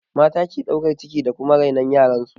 Mata ke ɗaukan ciki da kuma rainon yaran su